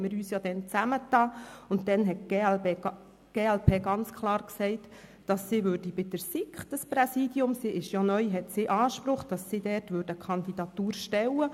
Wir haben uns als Fraktionspräsidien zusammengetan, und die glp hat ganz klar gesagt, sie habe bei der SiK neu Anspruch auf das Präsidium und werde hierfür eine Kandidatur stellen.